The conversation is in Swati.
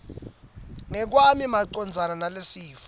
ngekwami macondzana nalesifo